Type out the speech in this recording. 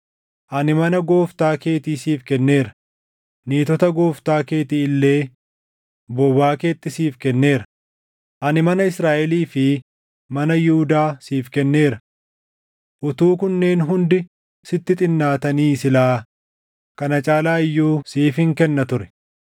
Ani mana gooftaa keetii siif kenneera; niitota gooftaa keetii illee bobaa keetti siif kenneera. Ani mana Israaʼelii fi mana Yihuudaa siif kenneera. Utuu kunneen hundi sitti xinnaatanii silaa kana caalaa iyyuu siifin kenna ture.